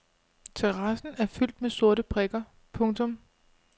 Terrassen er fyldt med sorte prikker. punktum